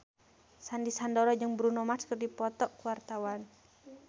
Sandy Sandoro jeung Bruno Mars keur dipoto ku wartawan